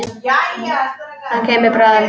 Hann kemur bráðum.